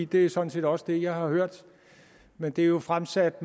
det er sådan set også det jeg har hørt men det er jo fremsat